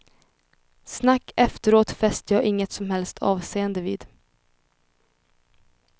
Snack efteråt fäster jag inget som helst avseende vid.